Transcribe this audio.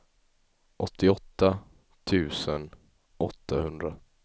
åttioåtta tusen åttahundra